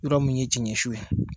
Yɔrɔ mun ye cɛn cɛn ye